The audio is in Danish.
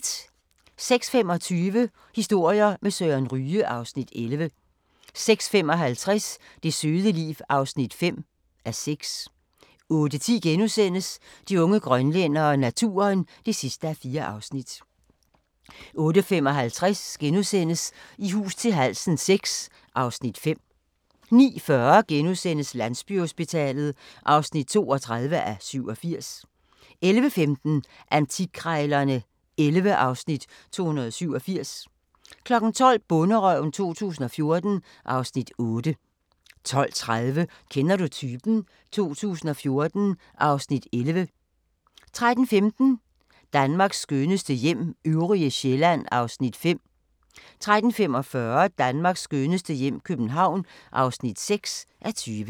06:25: Historier med Søren Ryge (Afs. 11) 06:55: Det søde liv (5:6) 08:10: De unge grønlændere - naturen (4:4)* 08:55: I hus til halsen VI (Afs. 5)* 09:40: Landsbyhospitalet (32:87)* 11:15: Antikkrejlerne XI (Afs. 287) 12:00: Bonderøven 2014 (Afs. 8) 12:30: Kender du typen? 2014 (Afs. 11) 13:15: Danmarks skønneste hjem - øvrige Sjælland (5:20) 13:45: Danmarks skønneste hjem - København (6:20)